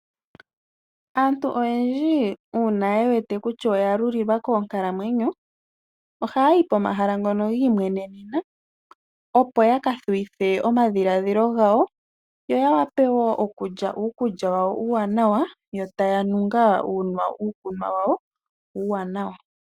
Aantu oyendji uuna ye wete kutya oya lulilwa Koonkalamwenyo oha yayi pomahala ngono gi imwenenena opo ya kathuwithe omadhiladhilo gawo yo taya nu ngaa uukunwa wawo uuwanawa .